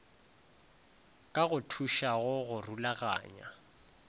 ka go thušago go rulaganya